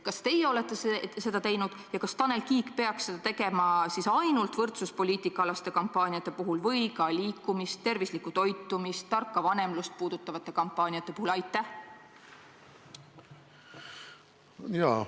Kas teie olete seda teinud ja kas Tanel Kiik peaks seda tegema siis ainult võrdsuspoliitika-alaste kampaaniate puhul või ka liikumist, tervislikku toitumist, tarka vanemlust puudutavate kampaaniate puhul?